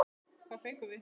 Hvað fengum við?